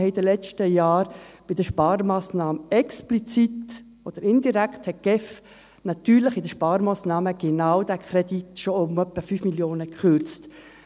Wir haben in den letzten Jahren bei den Sparmassnahmen explizit oder indirekt hat die GEF natürlich bei den Sparmassnahmen genau diesen Kredit schon um etwa 5 Mio. Franken gekürzt.